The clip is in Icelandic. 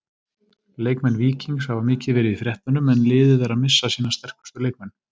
Leikmenn Víkings hafa mikið verið í fréttunum en liðið er að missa sína sterkustu leikmenn.